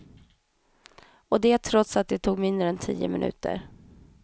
Och det trots att det tog mindre än tio minuter.